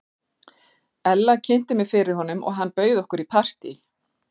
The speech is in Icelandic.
Ella kynnti mig fyrir honum og hann bauð okkur í partí.